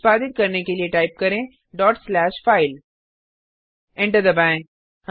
निष्पादित करने के लिए टाइप करें डॉट स्लैशफाइल फाइल एंटर दबाएँ